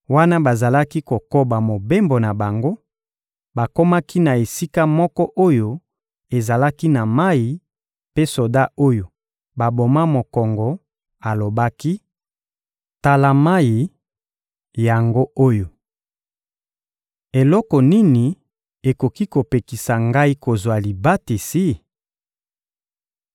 Wana bazalaki kokoba mobembo na bango bakomaki na esika moko oyo ezalaki na mayi mpe soda oyo baboma mokongo alobaki Tala mayi yango oyo Eloko nini ekoki kopekisa ngai kozwa libatisi ?